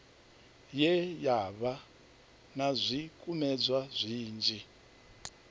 ye yavha na zwikumedzwa zwinzhi